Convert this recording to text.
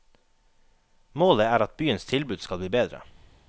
Målet er at byens tilbud skal bli bedre.